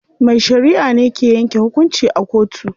Mai shariʼa ne ke yanke hukunci a kotu.